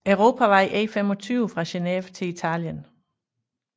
Europavej E25 fra Geneve til Italien